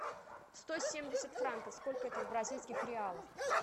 сто семьдесят франков сколько это в бразильских реалах